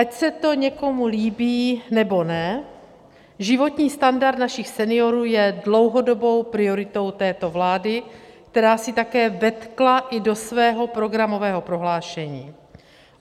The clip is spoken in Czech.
Ať se to někomu líbí nebo ne, životní standard našich seniorů je dlouhodobou prioritou této vlády, kterou si také vetkla i do svého programového prohlášení.